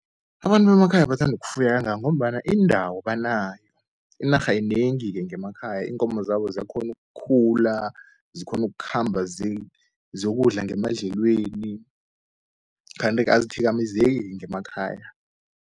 Abantu bemakhaya bathanda ukufuya kangaka, ngombana indawo banayo inarha yinengi-ke ngemakhaya, iinkomo zabo ziyakghona ukukhula, zikghona ukukhamba ziyokudla ngemadlelweni. Kanti-ke azithikamezeki-ke ngemakhaya.